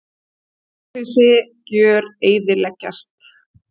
Hjólhýsi gjöreyðileggjast.